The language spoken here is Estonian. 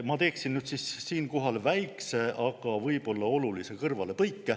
Ma teen siinkohal väikese, aga võib-olla olulise kõrvalepõike.